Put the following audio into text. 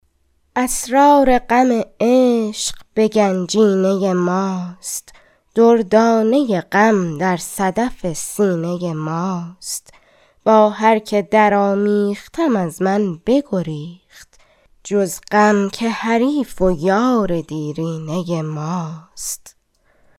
اسرار غم عشق بگنجینه ماست دردانه غم در صدف سینه ماست با هر که در آمیختم از من بگریخت جز غم که حریف و یار دیرینه ماست